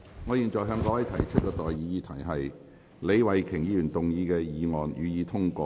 我現在向各位提出的待議議題是：李慧琼議員動議的議案，予以通過。